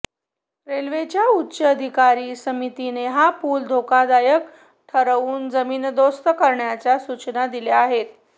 रेल्वेच्या उच्चाधिकार समितीने हा पूल धोकादायक ठरवून जमीनदोस्त करण्याच्या सूचना दिल्या आहेत